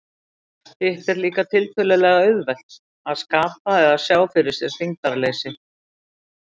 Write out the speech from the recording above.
Hitt er líka tiltölulega auðvelt, að skapa eða sjá fyrir sér þyngdarleysi.